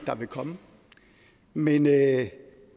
der vil komme men jeg